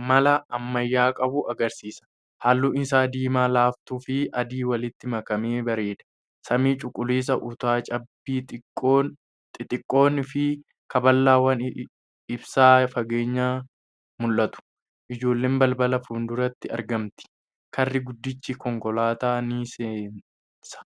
amala ammayyaa qabu agarsiisa. Halluun isaa diimaa laaftuu fi adii walitti makamee bareeda. Samii cuquliisaa, utaa cabbii xixiqqoon, fi kaablawwan ibsaa fageenyaan mul’atu. ijoolleen balbala fuulduratti argamtii. Karri guddichi konkolaataa ni seensa .